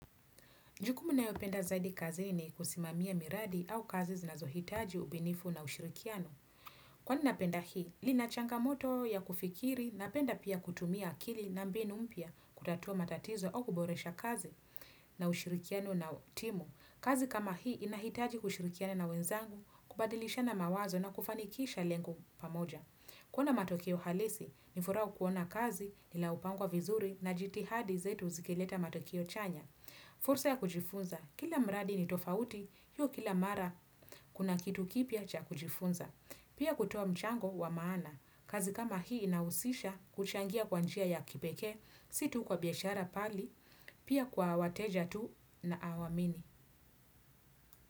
Jukumu nayopenda zaidi kazini kusimamia miradi au kazi zinazohitaji ubunifu na ushirikiano. Kwani napenda hii, lina changamoto ya kufikiri napenda pia kutumia akili na mbinu mpya kutatua matatizo au kuboresha kazi na ushirikiano na timu. Kazi kama hii inahitaji kushirikiana na wenzangu, kubadilishana mawazo na kufanikisha lengo pamoja. Kuwa na matokeo halisi, ni furaha kuona kazi ila hupangwa vizuri na jitihadi zetu zikileta matokeo chanya. Fursa ya kujifunza, kila mradi ni tofauti, hiyo kila mara kuna kitu kipya cha kujifunza. Pia kutoa mchango wa maana, kazi kama hii inahusisha kuchangia kwa njia ya kipekee, si tu kwa biashara bali, pia kwa wateja tu ninaowaamini.